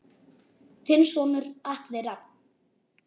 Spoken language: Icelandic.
Þinn sonur Atli Rafn.